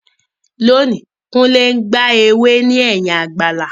Lónìí, Kunle gba ewé ní ẹ̀yìn àgbàlá.